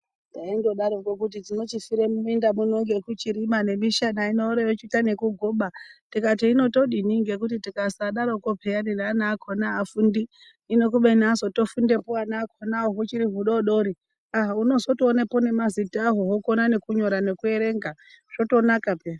Taindodaroko kuti tinochifire muminda muno ngekuchirima nemishana ino oro vochiita nokugoba. Tikati hino todini ngekuti tikasadaroko peyani neana akona haafundi. Hino kubeni azotofundepo ana akonavo huchiri hudodori aa hunotozotoonapo nemazita aho hokona nekunyora nekuerenga zvotonaka